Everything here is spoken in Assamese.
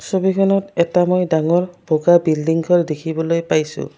ছবিখনত এটা মই ডাঙৰ বগা বিল্ডিংঘৰ দেখিবলৈ পাইছোঁ।